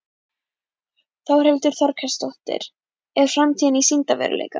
Þórhildur Þorkelsdóttir: Er framtíðin í sýndarveruleikanum?